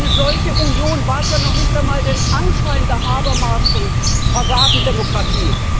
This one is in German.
Eine solche Union wahrt ja noch nicht einmal den Anschein der Habermasschen Fassadendemokratie.